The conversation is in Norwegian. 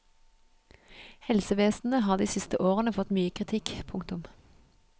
Helsevesenet har de siste årene fått mye kritikk. punktum